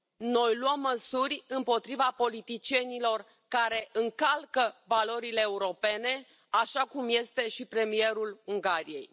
Noi luăm măsuri împotriva politicienilor care încalcă valorile europene, așa cum este și premierul Ungariei.